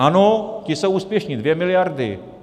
Ano, ti jsou úspěšní, 2 miliardy.